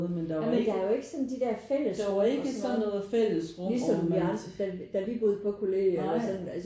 Jamen der er jo ikke sådan de der fællesrum og sådan noget ligesom vi andre da da vi boede på kollegiet eller sådan